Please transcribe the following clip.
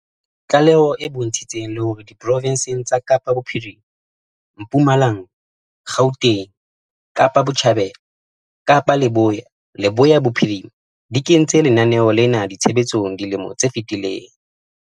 Tlaleho e bontshitse le hore diprofense tsa Kapa Bophirima, Mpumalanga, Gauteng, Kapa Botjhabela, Kapa Leboya le Leboya Bophirima di kentse lenaneo lena tshebetsong dilemong tse fetileng.